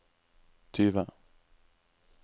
tyve